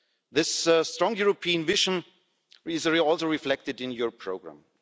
This strong European vision is also reflected in your programme.